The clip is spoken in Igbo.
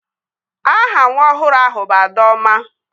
Aha nwa ọhụrụ ahụ bụ Adaọma